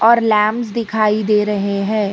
ऊपर लैंप्स दिखाई दे रहे हैं।